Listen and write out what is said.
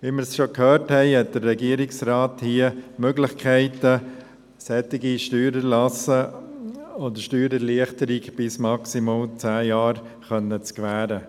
Wie wir schon gehört haben, hat der Regierungsrat hier Möglichkeiten, solche Steuererlasse oder Steuererleichterungen bis maximal zehn Jahre zu gewähren.